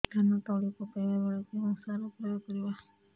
ଧାନ ତଳି ପକାଇବା ବେଳେ କେଉଁ ସାର ପ୍ରୟୋଗ କରିବା